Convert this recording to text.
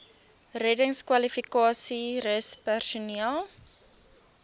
reddingskwalifikasies rus personeel